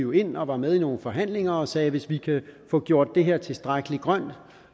vi ind og var med i nogle forhandlinger og sagde hvis vi kan få gjort det her tilstrækkelig grønt